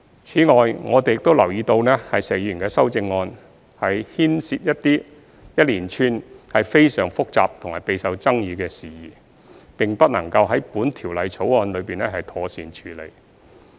此外，我們留意到石議員的修正案，牽涉一連串非常複雜和備受爭議的事宜，並不能夠在《條例草案》中妥善處理。